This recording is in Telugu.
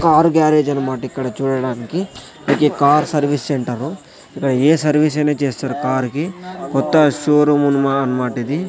కార్ గ్యారేజ్ అనమాట ఇక్కడ చూడడానికి ఇది కార్ సర్వీస్ సెంటర్ . ఇక్కడ ఏ సర్వీస్ అయినా చేస్తారు కార్ కి కొత్త షో రూమ్ అన్నమాట ఇది.